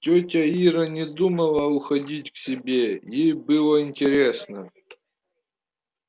тётя ира не думала уходить к себе ей было интересно